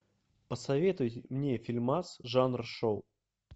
посоветуй мне фильмас жанр шоу